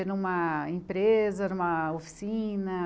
É numa empresa, numa oficina?